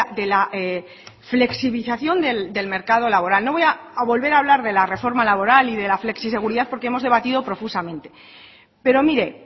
de la flexibilización del mercado laboral no voy a volver a hablar de la reforma laboral y de la flexiseguridad porque hemos debatido profusamente pero mire